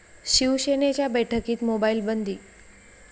शिवसेनेच्या बैठकीत मोबाईल बंदी